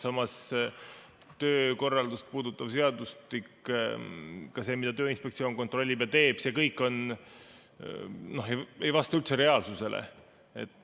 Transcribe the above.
Samas, töökorraldust puudutav seadustik, ka see, mida Tööinspektsioon kontrollib, ei vasta reaalsusele.